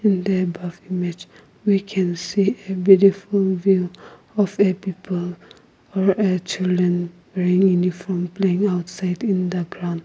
in the above image we can see a beautiful vill of a people or a children wearing uniform playing outside in the ground.